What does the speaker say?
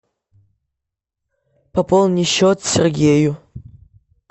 пополни счет сергею